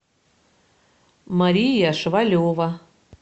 мария швалева